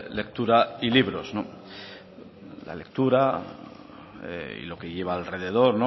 lectura y libros la lectura y lo que lleva alrededor